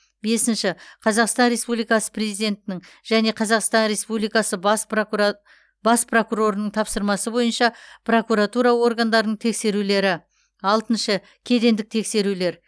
бесінші қазақстан республикасы президентінің және қазақстан республикасы бас прокурабас прокурорының тапсырмасы бойынша прокуратура органдарының тексерулері алтыншы кедендік тексерулер